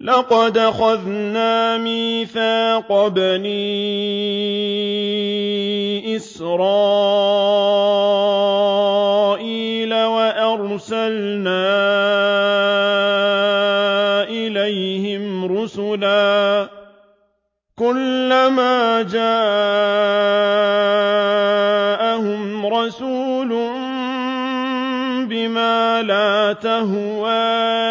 لَقَدْ أَخَذْنَا مِيثَاقَ بَنِي إِسْرَائِيلَ وَأَرْسَلْنَا إِلَيْهِمْ رُسُلًا ۖ كُلَّمَا جَاءَهُمْ رَسُولٌ بِمَا لَا تَهْوَىٰ